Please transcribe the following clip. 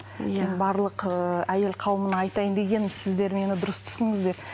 иә барлық ыыы әйел қауымына айтайын дегенім сіздер мені дұрыс түсініңіздер